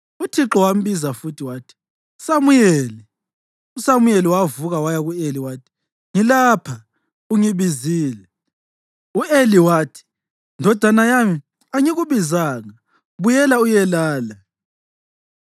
Uthixo wambiza futhi wathi, “Samuyeli!” USamuyeli wavuka waya ku-Eli wathi, “Ngilapha; ungibizile.” U-Eli wathi, “Ndodana yami, Angikubizanga; buyela uyelala.”